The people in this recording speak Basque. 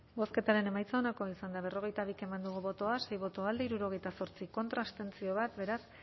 bozketaren emaitza onako izan da berrogeita bi eman dugu bozka sei boto alde hirurogeita zortzi contra bat abstentzio beraz